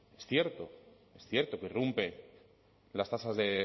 es cierto es cierto que irrumpe las tasas de